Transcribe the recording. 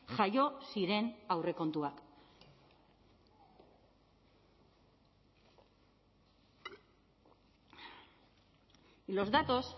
jaio ziren aurrekontuak y los datos